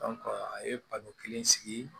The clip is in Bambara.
a ye baro kelen sigi